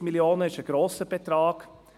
140 Mio. Franken sind ein grosser Betrag.